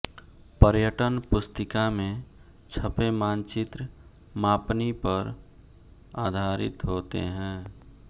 पर्यटन पुस्तिका में छ्पे मानचित्र मापनी पर आधारित होते हैं